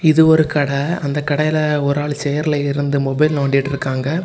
இது ஒரு கட அந்த கடையில ஒரு ஆளு சேரில இருந்து மொபைல் நோண்டிட்டு இருக்காங்க.